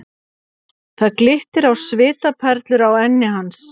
Það glittir á svitaperlur á enni hans.